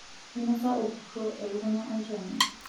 Einosa orkuro elekunya olchani